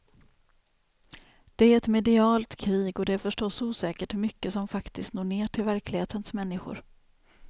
Det är ett medialt krig och det är förstås osäkert hur mycket som faktiskt når ner till verklighetens människor.